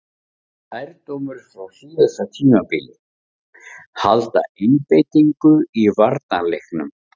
Lærdómur frá síðasta tímabili: Halda einbeitingu í varnarleiknum.